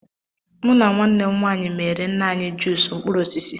Mụ na nwanne m nwaanyị meere nna anyị juus mkpụrụ osisi.